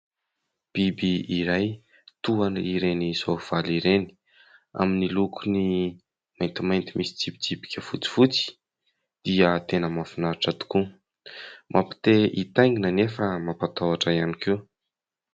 Biby iray toa ireny soavaly ireny, amin'ny lokony maintimainty misy tsipitsipika fotsifotsy dia tena mahafinaritra tokoa. Mampite hitaingina anefa mampatahotra ihany koa.